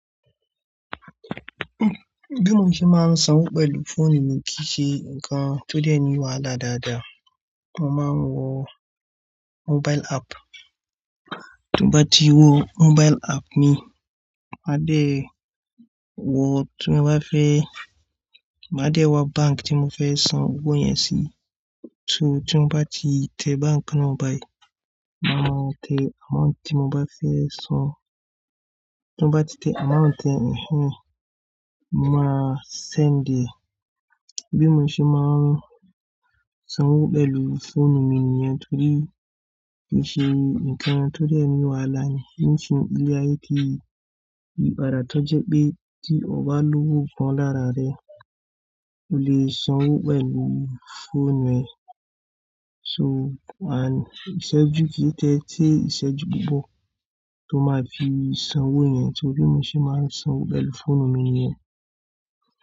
Bí mo ṣe máa ń sanwó pẹ̀lú fóònù mi kìí ṣe ǹkan tó dẹ́ni wàhálà dáadáa. Mo máa ń wo mobile app, tí mo bá ti wo mobile app mi, máa dé wo tí mo bá fẹ́, máa dé wá bánkì tí mo fẹ́ san owó yẹn sí. So tí mo bá ti tẹ bánkì náà báyìí, máa mú ọ̀nà tí mo bá fẹ́ san. Tí mo bá ti tẹ amount ẹ́, mo máa send. Bí mo ṣe máa ń sanwó pẹ̀lú fóònù mi nìyẹn nítorí kì í ṣe ǹkan tó dẹ́ni wàhálà. Nítorí pé ilé ayé yìí, ìbàrà tó jẹ pé tí o bá lówó pọ́n lára rẹ, o lè sanwó pẹ̀lú fóònù ẹ. So àń ṣẹ́jú kí ó tẹ́tẹ́, ṣe ṣẹ́jú púpọ̀ tó máa fi san owó yẹn tí òbí mi ṣe máa ń sanwó pẹ̀lú fóònù mi nìyẹn.